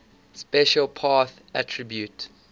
special path attribute